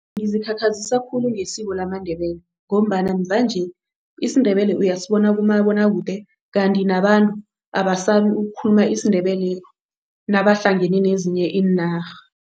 Ngizikhakhazisa khulu ngesiko lamaNdebele ngombana mvanje isiNdebele uyasibona kumabonwakude. Kanti nabantu abasabi ukukhuluma isiNdebele nabahlangene nezinye iinarha.